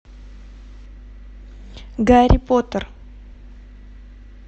гарри поттер